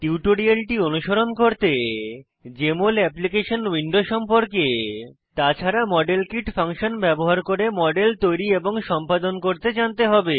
টিউটোরিয়ালটি অনুসরণ করতে জেএমএল অ্যাপ্লিকেশন উইন্ডো সম্পর্কে তাছাড়া মডেল কিট ফাংশন ব্যবহার করে মডেল তৈরী এবং সম্পাদন করতে জানতে হবে